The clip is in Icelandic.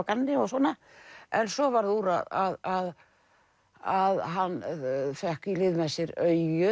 gamni og svona en svo varð úr að að hann fékk í lið með sér